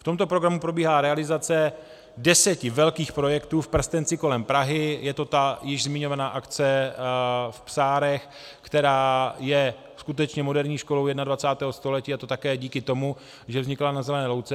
V tomto programu probíhá realizace deseti velkých projektů v prstenci kolem Prahy, je to ta již zmiňovaná akce v Psárech, která je skutečně moderní školou 21. století, a to také díky tomu, že vznikla na zelené louce.